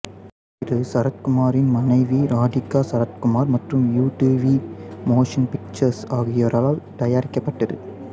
இது சரத்குமாரின் மனைவி ராதிகா சரத்குமார் மற்றும் யுடிவி மோஷன் பிக்சர்ஸ் ஆகியோரால் தயாரிக்கப்பட்டது